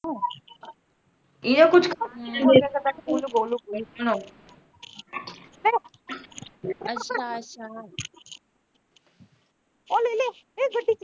ਇਹ ਛੱਡੀ।